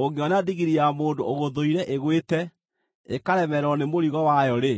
Ũngĩona ndigiri ya mũndũ ũgũthũire ĩgwĩte ĩkaremererwo nĩ mũrigo wayo-rĩ,